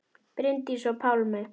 Bryndís og Pálmi.